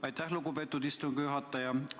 Aitäh, lugupeetud istungi juhataja!